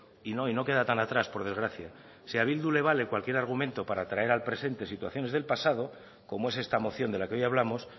y no y no queda tan atrás por desgracia si ha bildu le vale cualquier argumento para traer al presente situaciones del pasado como es esta moción de la que hoy hablamos